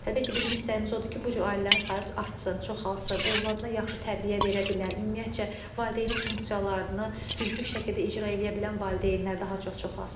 Təbii ki, bizim istəyimiz odur ki, bu cür ailələrin sayı artsın, çoxalsın, övladına yaxşı tərbiyə verə bilən, ümumiyyətcə valideynin funksiyalarını düzgün şəkildə icra eləyə bilən valideynlər daha çox çoxalsın.